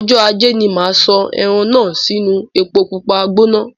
Ọjọ ajé ní máa sọ ẹran náà sì inu èpo pupa gbóná